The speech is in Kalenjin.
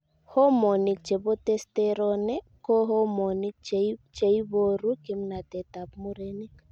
Homonik chebo Testosterone ko Homonik cheiboru kimnatetab murenik.